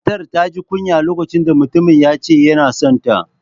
Matar ta ji kunya lokacin da mutumin ya ce yana son ta